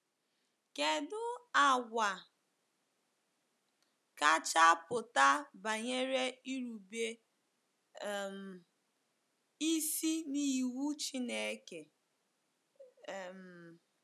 Kedụ àgwà kacha pụta banyere irube um isi n’iwu Chineke? um